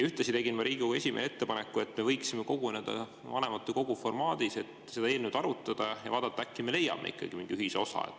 Ühtlasi tegin ma Riigikogu esimehele ettepaneku, et me võiksime koguneda vanematekogu formaadis, et seda eelnõu arutada ja vaadata, äkki me leiame mingi ühisosa.